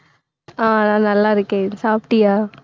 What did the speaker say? ஆஹ் நான் நல்லா இருக்கேன். சாப்பிட்டியா